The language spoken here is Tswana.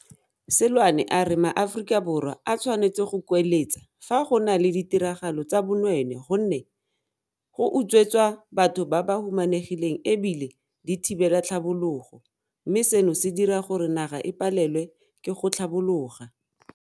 Seloane a re maAforika Borwa a tshwanetse go kueletsa fa go na le ditiragalo tsa bonweenwee gonne di utswetsa batho ba ba humanegileng e bile di thibela tlhabologo, mme seno se dira gore naga e palelwe ke go tlhabologa.